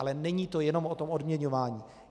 Ale není to jenom o tom odměňování.